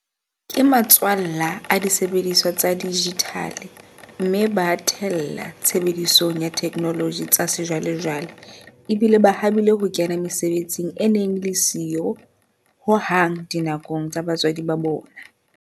Ke matswallwa a disebediswa tsa dijithale mme ba a the lla tshebedisong ya ditheknoloji tsa sejwalejwale, ebile ba habile ho kena mesebetsing e neng e le siyo ho hang dinakong tsa batswadi ba bona.